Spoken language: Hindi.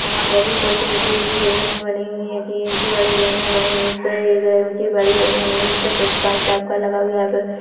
यहाँ पर भी कुछ ऊंची-ऊंची बिल्डिंगे बनी हुई है बनी हुई है उस पर कांच टाइप का लगा हुआ है।